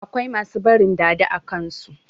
Akwai masu barin "dada" a kansu.